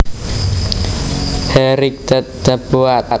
He righted the boat